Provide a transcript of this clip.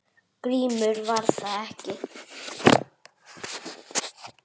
GRÍMUR: Var það ekki!